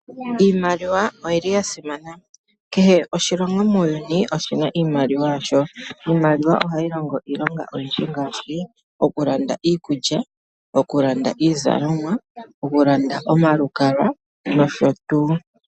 Iimaliwa oyili yasimana. Kehe oshilongo muuyuni oshina iimaliwa yasho. Iimaliwa ohayi longo iilonga oyindji ngaashi okulanda iikulya , okulanda iizalomwa, okulanda omalukalwa nosho tuu.